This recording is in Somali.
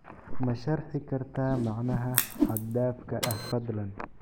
Ma sharxi kartaa macnaha xad dhaafka ah fadlan?